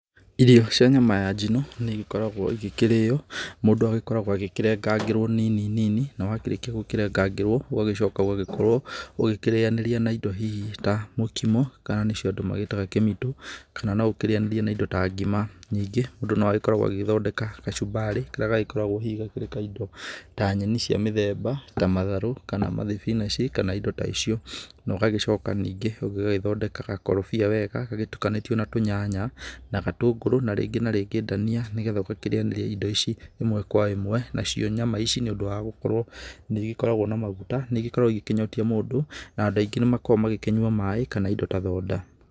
Irio cia nyama ya njino nĩigĩkoragwo igĩkĩrĩo, mũndũ agĩkoragwo agĩkĩrengerwa nini nini na wakĩrĩkia kũrengarengerwa ũgacoka ũgagĩkorwo ũgĩkĩrĩanĩria naindo hihi ta mũkomo kana nĩcio andũ maciĩtaga kĩmitũ kana noũkĩrĩanĩrie na indo ta ngima, ningĩ mũndũ noagĩkoragwo agĩthondeka kachumbari karĩa gagĩkoragwo hihi kathondeketwo ta indo cia mũthemba ta matharũ kana mathibinachi kana indo ta icio, na ũgagĩcoka ningĩ ũgagĩthondeka gakorobia wega gatukanĩtue na tunyanya na gatunguru na rĩngĩ na rĩngĩ ndania nĩgetha ũgakĩrĩanĩria na indo ici ĩmwe kwa ĩmwe nacio nyama ici nĩũndũ wa gũkorwo nĩigĩkoragwo na maguta nĩgĩkoragwo ikĩnyotia mũndũ na andũ aingĩ nĩmakoragwo magĩkĩnyua maĩ kana indo ta thonda.